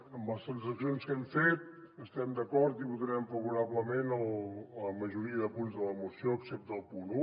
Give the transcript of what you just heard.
amb les transaccions que hem fet estem d’acord i votarem favorablement la majoria de punts de la moció excepte el punt un